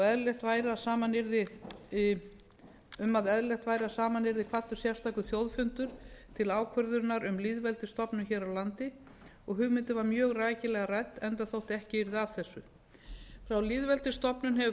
eðlilegt væri að saman yrði kvaddur sérstakur þjóðfundur til ákvörðunar um lýðveldisstofnun hér á land og hugmyndin var mjög rækilega rædd enda þótt ekki yrði af þessu frá lýðveldisstofnun hefur frumvarp